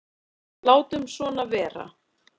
Látum svona vera.